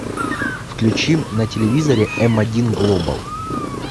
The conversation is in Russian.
включи на телевизоре м один глобал